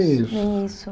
Nem isso. Nem isso